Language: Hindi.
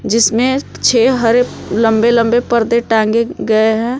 इसमें छे हरे लंबे लंबे पर्दे टांगे गए हैं।